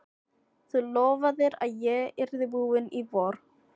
Þú lofaðir að ég yrði búinn í vor!